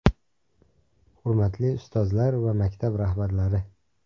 Hurmatli ustozlar va maktab rahbarlari!